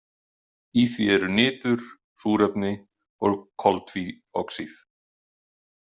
Í því eru nitur, súrefni og koltvíoxíð.